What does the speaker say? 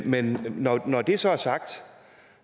men når når det så er sagt